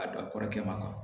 A don a kɔrɔkɛ ma